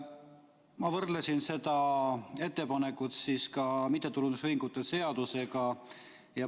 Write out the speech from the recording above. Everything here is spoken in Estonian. Ma võrdlesin seda ettepanekut mittetulundusühingute seadusega.